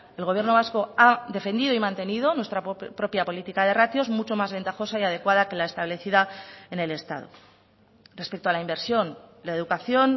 el gobierno vasco ha defendido y mantenido nuestra propia política de ratios mucho más ventajosa y adecuada que la establecida en el estado respecto a la inversión la educación